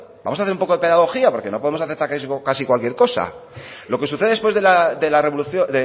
vamos hacer un poco de pedagogía porque no podemos aceptar casi cualquier cosa lo que sucede después de la revolución